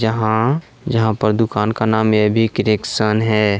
जहां जहां पर दुकान का नाम एबी क्रिएशन है।